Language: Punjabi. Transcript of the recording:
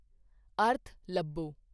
ਅਰਥ ਲੱਭੋ